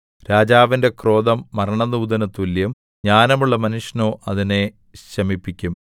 രാജാവിന്റെ ക്രോധം മരണദൂതന് തുല്യം ജ്ഞാനമുള്ള മനുഷ്യനോ അതിനെ ശമിപ്പിക്കും